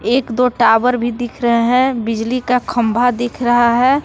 एक दो टावर भी दिख रहे हैं बिजली का खंभा दिख रहा है।